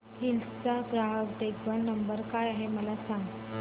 hills चा ग्राहक देखभाल नंबर काय आहे मला सांग